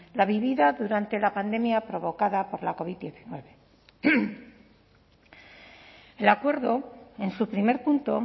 la vivida durante la pandemia provocada por la covid hemeretzi el acuerdo en su primer punto